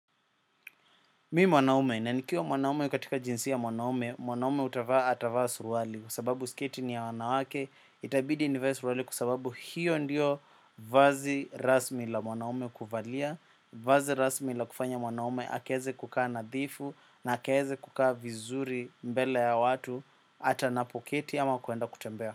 Mimi mwanaume, na nikiwa mwanaume katika jinsia ya mwanaume, mwanaume hutavaa atavaa suruali kwa sababu sketi ni ya wanawake, itabidi nivae suruali kwa sababu hiyo ndiyo vazi rasmi la mwanaume kuvalia, vazi rasmi la kufanya mwanaume, akaeze kukaa nadhifu na akaeze kukaa vizuri mbele ya watu, hata anapoketi ama kuenda kutembea.